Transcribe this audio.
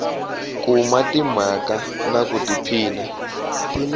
kuma timhaka na ku tiphina